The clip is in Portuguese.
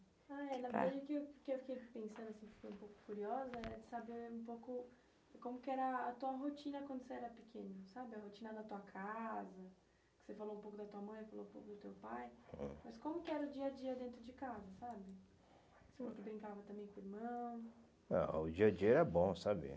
Ah, é, na verdade é que o que eu fiquei pensando assim, fiquei um pouco curiosa, é saber um pouco como que era a tua rotina quando você era pequeno, sabe? A rotina da tua casa, você falou um pouco da tua mãe, falou um pouco do teu pai, hum, mas como que era o dia a dia dentro de casa, sabe? Ah, o dia a dia era bom, sabe